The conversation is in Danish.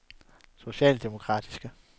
socialdemokratiske